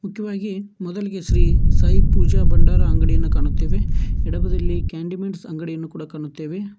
ಮುಖ್ಯವಾಗಿ ಮೊದಲಿಗೆ ಶ್ರೀ ಸಾಯಿ ಪೂಜ ಭಂಡಾರ ಅಂಗಡಿಯನ್ನು ಕಾಣುತ್ತೆವೆ ಎಡಬದಿಯಲ್ಲಿ ಕ್ಯಾಂಡಿಮೆಂಟ್ಸ್ ಅಂಗಡಿಯನ್ನು ಕೂಡ ಕಾಣುತ್ತೆವೆ.